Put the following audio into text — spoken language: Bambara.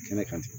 Kɛnɛ kan